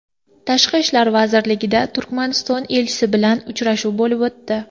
Tashqi ishlar vazirligida Turkmaniston elchisi bilan uchrashuv bo‘lib o‘tdi.